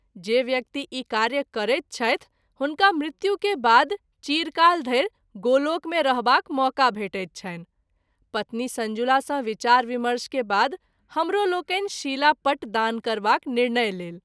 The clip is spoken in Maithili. जे व्यक्ति ई कार्य करैत छथि हुनका मृत्यु के बाद चिरकाल धरि गोलोक मे रहबाक मौका भेटैत छनि पत्नी संजुला सँ विचार विमर्श के बाद हमरो लोकनि शिला पट दान करबाक निर्णय लेल।